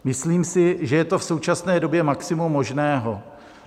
Myslím si, že je to v současné době maximum možného.